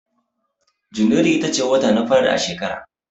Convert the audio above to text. Janairu ita ce wata na fari a shekara